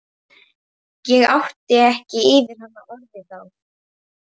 Vera, hvernig kemst ég þangað?